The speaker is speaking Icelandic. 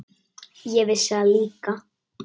Ég vissi það líka.